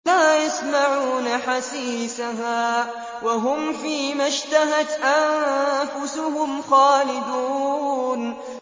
لَا يَسْمَعُونَ حَسِيسَهَا ۖ وَهُمْ فِي مَا اشْتَهَتْ أَنفُسُهُمْ خَالِدُونَ